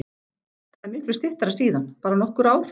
Það er miklu styttra síðan, bara nokkur ár.